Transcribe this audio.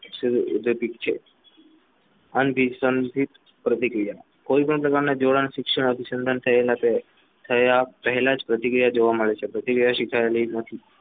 પ્રતિક્રિયા અંશત પ્રતિક્રિયા કોઈપણ પ્રતિક્રિયા જોડાણ શિક્ષણ અનુસંધાન થયેલા છે થયા પહેલા પ્રતિક્રિયા જોવા મળે જુઓ શિખાય પ્રતિક્રિયા નથી